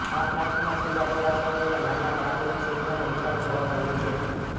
આ પ્રાંતમાં છેલ્લા થોડા સમયમાં નાના બાળકોની સંખ્યામાં ઉછાળો જોવા મળ્યો છે